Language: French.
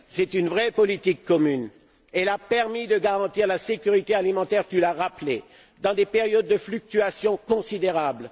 C'est une vraie politique commune qui a permis de garantir la sécurité alimentaire tu l'as rappelé dans des périodes de fluctuations considérables.